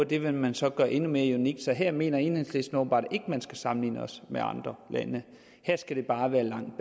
det vil man så gøre endnu mere unikt så her mener enhedslisten åbenbart ikke at man skal sammenligne os med andre lande her skal det bare være langt